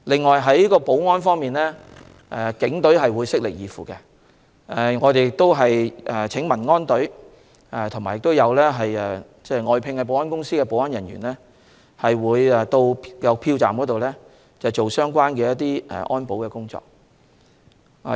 此外，在保安方面，警隊會悉力以赴，我們也會請民安隊和外聘保安公司的保安人員在票站進行安保工作。